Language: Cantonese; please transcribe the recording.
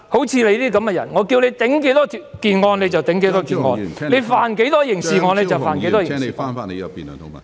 像你這樣的人，叫你頂案你就頂案，說你犯過多少刑案你就犯了多少刑案"......